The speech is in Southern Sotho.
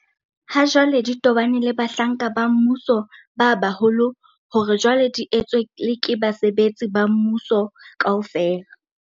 Hajwale di tobaneng le bahlanka ba mmuso ba baholo hore jwale di etswe le ke basebetsi ba mmuso kaofela.